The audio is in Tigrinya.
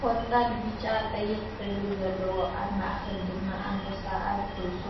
ቆፃል ፣ቢጫ፣ ቀይሕ ሕብሪ ዘለዎ ኣብ ማእከል ድማ ኣንበሳ ኣብ ርእሱ